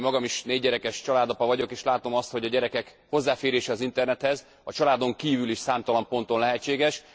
Én magam is négygyerekes családapa vagyok, és látom azt, hogy a gyerekek hozzáférése az internethez a családon kívül is számtalan ponton lehetséges.